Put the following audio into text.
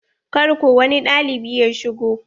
Kar ko wani ɗalibi ya shigo.